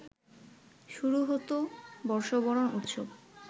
শুরু হত বর্ষবরণ উৎসব